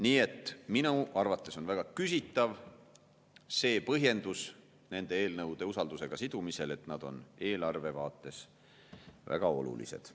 Nii et minu arvates on väga küsitav see põhjendus nende eelnõude usaldusega sidumisel, et need on eelarve vaates väga olulised.